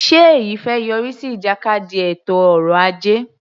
Ṣe èyí fẹ́ yọrí sí ìjàkadì ètò ọrọ ajé?